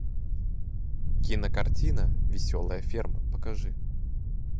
кинокартина веселая ферма покажи